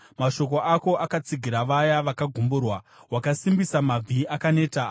Mashoko ako akatsigira vaya vakagumburwa; wakasimbisa mabvi akaneta.